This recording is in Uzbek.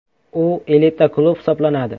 U elita klub hisoblanadi.